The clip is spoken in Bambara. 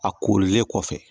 A korilen kɔfɛ